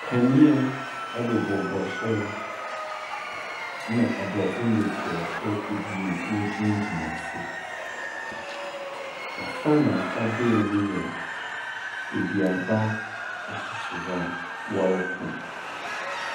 Kanea bobɔbobɔ soro na Aborɔfo mmesiafo abien wɔgyinagyina ase. Afa na afa dei no yɛ adua ba a ɔsisi hɔ a wɔretɔn.